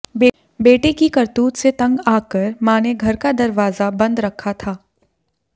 बेटे की करतूत से तंग आकर मां ने घर का दरवाजा बंद रखा था